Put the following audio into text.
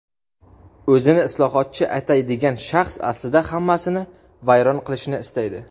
O‘zini islohotchi ataydigan shaxs aslida hammasini vayron qilishni istaydi.